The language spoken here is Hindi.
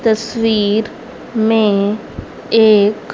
तस्वीर में एक--